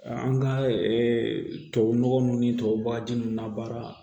An ka tubabu nɔgɔ nun ni tubabu nunnu na baara